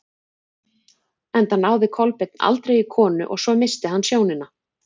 Enda náði Kolbeinn aldrei í konu og svo missti hann sjónina.